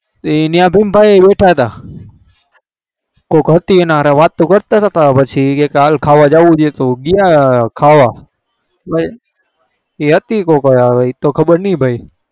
એ એની બોમ પાડી બેઠા થા કોક હતી એના જોડ વાત કરતા તા